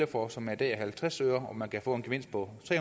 for og som i dag er halvtreds øre hvor man kan få en gevinst på tre